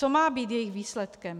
Co má být jejich výsledkem?